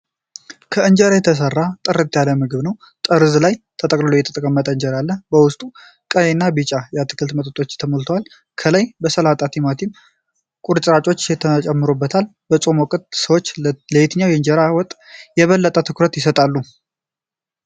ከእንጀራ የተሰራ ጥርት ያለ ምግብ ነው። ጠርዝ ላይ ተጠቅልሎ የተቀመጠ እንጀራ አለ። በውስጡ ቀይና ቢጫ የአትክልት ወጦች ተሞልተዋል። ከላይ የሰላጣና የቲማቲም ቁርጥራጮች ተጨምሮበታል። በጾም ወቅት ሰዎች ለየትኛው የእንጀራ ወጥ የበለጠ ትኩረት ይሰጣሉ?